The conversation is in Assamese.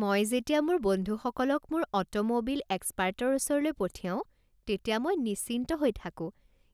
মই যেতিয়া মোৰ বন্ধুসকলক মোৰ অটোম'বিল এক্সপাৰ্টৰ ওচৰলৈ পঠিয়াও তেতিয়া মই নিশ্চিন্ত হৈ থাকো